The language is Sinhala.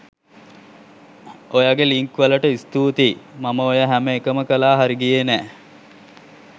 ඔයගේ ලින්ක් වලට ස්තුතියි මම ඔය හැම එකම කලා හරිගියේ නෑ.